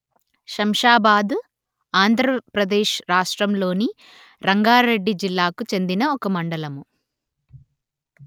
శంషాబాద్ ఆంధ్రప్రదేశ్ రాష్ట్రములోని రంగారెడ్డి జిల్లాకు చెందిన ఒక మండలము